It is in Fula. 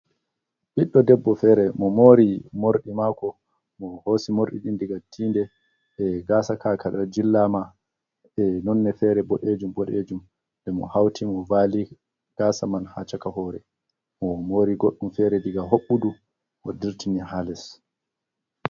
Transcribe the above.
Ɓiɗɗo debbo fere, mo moori morɗi maako, mo hoosi morɗi ɗin diga tiinde, e gaasa ka, ka jillaama e nonne fere, boɗejum-boɗejum, nde mo hauti mo vaali gaasa man ha chaka hoore, mo moori goɗɗum fere daga hoɓɓudu mo dirtini ha les.